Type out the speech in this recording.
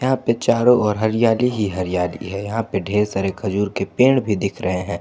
यहां पे चारो ओर हरियाली ही हरियाली है यहां पे ढेर सारे खजूर के पेड़ भी दिख रहे हैं।